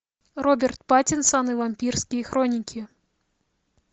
роберт паттинсон и вампирские хроники